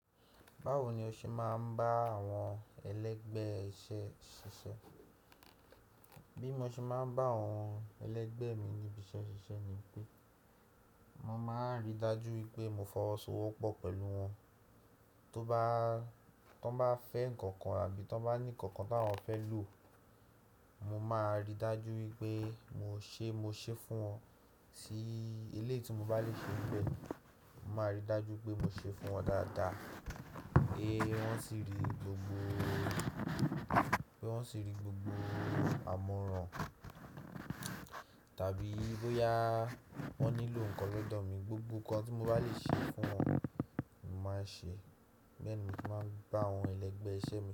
Báwo ni o ṣe máa ń bá àwọn ẹlẹ́gbẹ́ iṣẹ́ ṣiṣẹ́? Bí mo ṣe máa ń bá àwọn ẹlẹ́gbẹ́ mi níbi iṣẹ́ ṣiṣẹ́ ni pé, mo máa ri dájú pé mo fọwọ́sowọ́pọ̀ pẹ̀lú wọn. Tó bá fẹ́ nǹkan kan àbí tí wọ́n bá ní nǹkan kan tí wọ́n fẹ́ lò, mo máa ri dájú pé mo ṣe, mo ṣe fún wọn. Sí èlé tí mo bá lè ṣe bẹ́ẹ̀, mo máa ri dájú pé mo ṣe fún wọn dáadáa. Pé wọ́n sì rí gbogbo àmoran tàbí bóyá wọ́n nílò nǹkan lọ́dọ̀ mi, gbogbo nǹkan tí mo bá lè ṣe fún wọn, mo máa ṣe. Bẹ́ẹ̀ ni mo máa ń bá àwọn ẹlẹ́gbẹ́ iṣẹ́ mi.